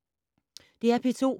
DR P2